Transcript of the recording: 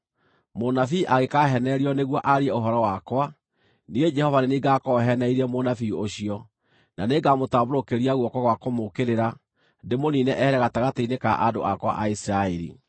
“ ‘Mũnabii angĩkaaheenererio nĩguo aarie ũhoro wakwa, niĩ Jehova nĩ niĩ ngaakorwo heenereirie mũnabii ũcio, na nĩngamũtambũrũkĩria guoko gwa kũmũũkĩrĩra, ndĩmũniine ehere gatagatĩ-inĩ ka andũ akwa a Isiraeli.